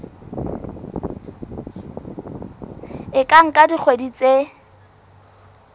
e ka nka dikgwedi tse